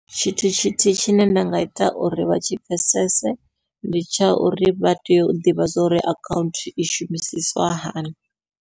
Tshithu tshithihi tshine nda nga ita uri vha tshi pfhesese ndi tsha uri vha tea u ḓivha zwa uri akhaunthu i shumisiswa hani.